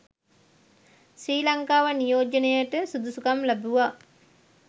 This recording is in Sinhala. ශ්‍රී ලංකාව නියෝජනයට සුදුසුකම් ලැබුවා